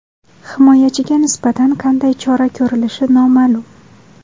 Himoyachiga nisbatan qanday chora ko‘rilishi noma’lum.